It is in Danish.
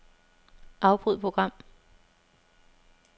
Afbryd program.